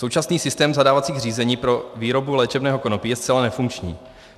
Současný systém zadávacích řízení pro výrobu léčebného konopí je zcela nefunkční.